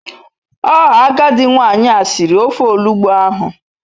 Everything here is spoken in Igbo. Oo agadi nwanyi a siri ofe olugbu ahu